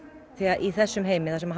því að í þessum heimi sem